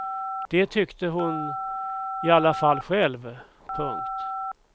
Det tyckte hon i alla fall själv. punkt